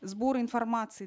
сбор информации